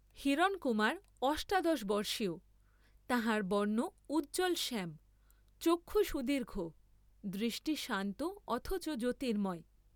হিরণকুমার অষ্টাদশবর্ষীয়, তাঁহার বর্ণ উজ্জ্বলশ্যাম, চক্ষু সুদীর্ঘ, দৃষ্টি শান্ত অথচ জ্যোতির্ম্ময়।